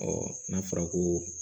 n'a fɔra ko